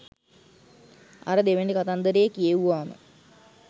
අර දෙවැනි කතන්දරේ කියෙව්වාම